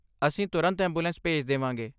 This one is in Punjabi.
ਅਸੀਂ ਤੁਰੰਤ ਐਂਬੂਲੈਂਸ ਭੇਜ ਦੇਵਾਂਗੇ।